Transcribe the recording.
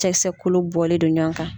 Cɛkisɛ kolo bɔlen don ɲɔgɔn kan.